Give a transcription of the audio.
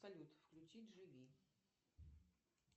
салют включить живи